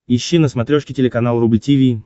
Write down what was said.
ищи на смотрешке телеканал рубль ти ви